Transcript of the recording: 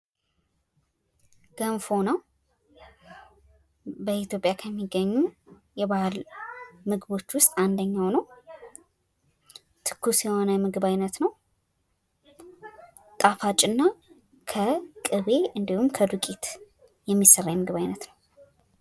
ገንፎ ነው። በኢትዮጵያ ከሚገኙ የባህል ምግቦች ውስጥ አንደኛው ነው። ትኩስ የሆነ የምግብ አይነት ነው። ጣፋጭና ከቅቤ እና ከዱቄት የሚሰራ የምግብ አይነት ነው።